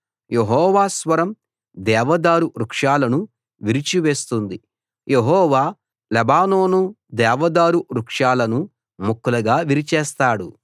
యెహోవా స్వరం దేవదారు వృక్షాలను విరిచి వేస్తుంది యెహోవా లెబానోను దేవదారు వృక్షాలను ముక్కలుగా విరిచేస్తాడు